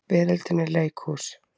Veröldin er leikhús.